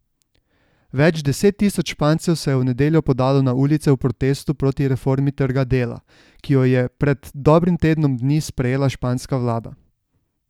Več deset tisoč Špancev se je v nedeljo podalo na ulice v protestu proti reformi trga dela, ki jo je pred dobrim tednom dni sprejela španska vlada.